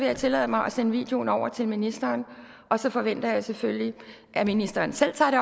jeg tillade mig at sende videoen over til ministeren og så forventer jeg selvfølgelig at ministeren selv tager det